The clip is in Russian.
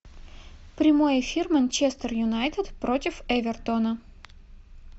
прямой эфир манчестер юнайтед против эвертона